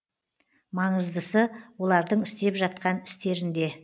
маңыздысы олардың істеп жатқан істерінде